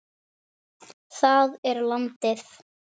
Það er landið.